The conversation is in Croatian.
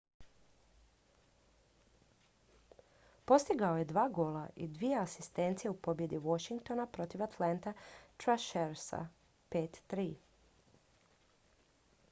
postigao je 2 gola i 2 asistencije u pobjedi washingtona protiv atlanta thrashersa 5:3